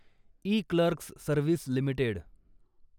eClerx service limited